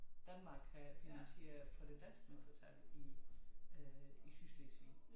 Danmark havde finansieret for det danske mindretal i øh i Sydslesvig